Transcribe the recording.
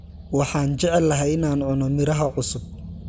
Waxaan jeclahay in aan cuno miraha cusub